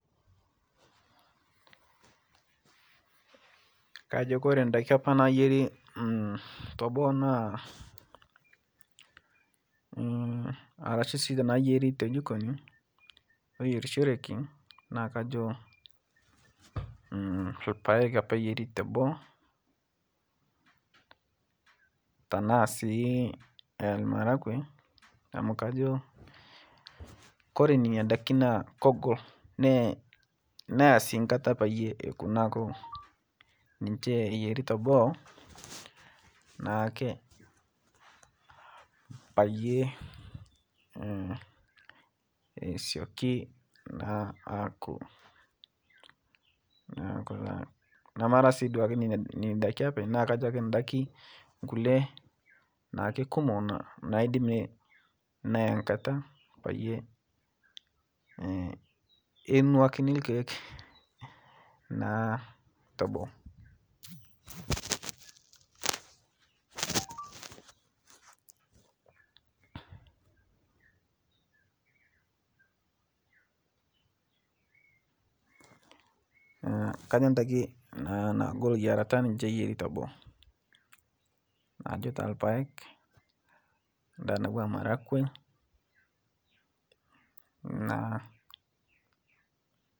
Kajo Kore ndaki apa nayeri taboo naa arashu si nayeri ltojikoni loyerisheriki naakajo lpaeg apa iyeri teboo tanasi lmarakwe amu kajo, Kore nenia daki naa koogol neya si nkata payie eku naaku niche eyeri teboo naake payie esioki aku naaku taa marasi nenia daki apeny naakajo ndaki kule naake kumo naidim neya nkata payie enuakini lkeek naa toboo. Kajo ndaki nagol yarata niche eyeri teboo kajo taa lpaeg ndaa natua marakwe naa.